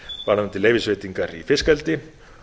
varðandi leyfisveitingar í fiskeldi